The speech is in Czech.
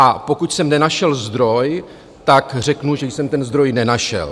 A pokud jsem nenašel zdroj, tak řeknu, že jsem ten zdroj nenašel.